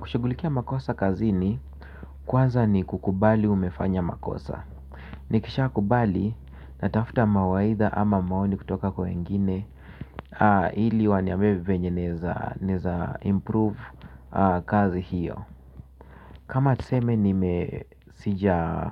Kushughulikia makosa kazini kwanza ni kukubali umefanya makosa. Nikishakubali natafta mawaidha ama maoni kutoka kwa wengine. Ili waniambie vyenye naweza improve kazi hiyo. Kama tuseme nime sija